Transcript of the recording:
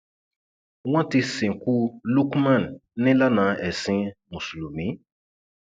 wọn ti sìnkú lukman nílànà ẹsìn mùsùlùmí